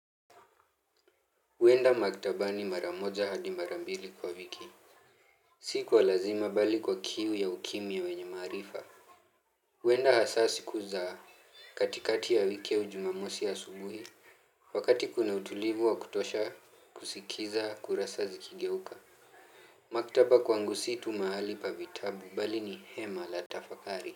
Huenda maktabani mara moja hadi mara mbili kwa wiki. Si kwa lazima bali kwa kiu ya ukimya wenye maarifa. Huenda hasa siku za katikati ya wiki au Jumamosi asubuhi. Wakati kuna utulivu wa kutosha, kusikiza, kurasa zikigeuka. Maktaba kwangu si tu mahali pa vitabu bali ni hema la tafakari.